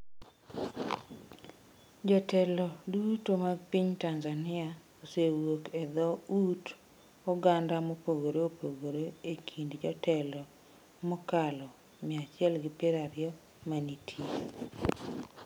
Jotelo duto mag piny Tanzania osewuok e dho ut oganda mopogore opogore e kind jotelo mokalo 120 ma nitie.